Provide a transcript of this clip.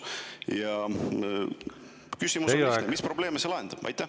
Ja küsimus: mis probleeme see lahendab?